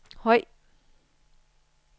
høj